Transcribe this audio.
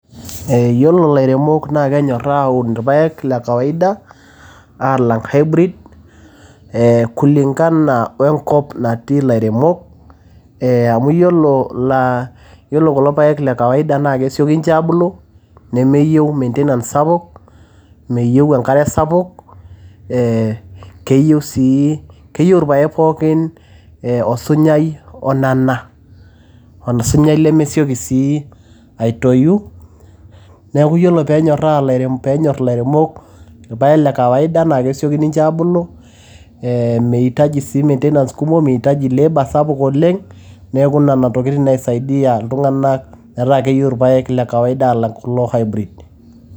Ee iyolo lairemok naa kenyoraa aun irpaek le kawaida alang hybrid ee kulingana we enkop natii nairemok ee amu iyiolo aa iyolo kulo paek le kawaida na kesieki ninche abulu nemeyieu maintenance sapuk ,meyieu enkare sapuk ee neyieu sii keyiu irpaek pookin osunyai onana osunyai lemesieki sii aitoyu neaku ore peenyora lairemok peenyor ilairemok irpaek le kawaida nakesieki ninche abulu ee meitaji sii maintenance sapuk meitaji sii labour sapuk oleng neaku nona tokitin nai saidia iltunganak na keyieu irpaeka le kawaida alang kulo hybrid